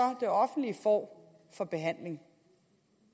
det offentlige får for behandling